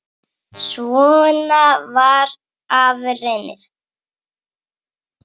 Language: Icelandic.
Svona var afi Reynir.